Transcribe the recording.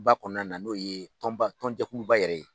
ba kɔnɔna na n'o ye tɔnba tɔn jɛkuluba yɛrɛ ye.